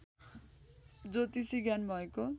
ज्योतिषी ज्ञान भएको